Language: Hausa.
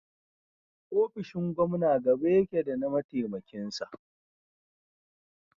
ofishin Gomna gaba yake da na mataimakin sa